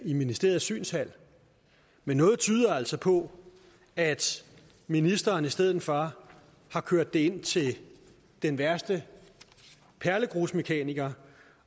i ministeriets synshal men noget tyder altså på at ministeren i stedet for har kørt det ind til den værste perlegrusmekaniker